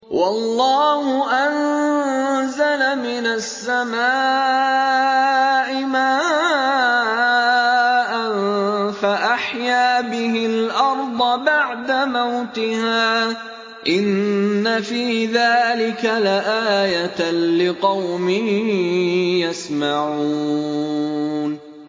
وَاللَّهُ أَنزَلَ مِنَ السَّمَاءِ مَاءً فَأَحْيَا بِهِ الْأَرْضَ بَعْدَ مَوْتِهَا ۚ إِنَّ فِي ذَٰلِكَ لَآيَةً لِّقَوْمٍ يَسْمَعُونَ